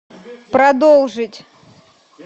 продолжить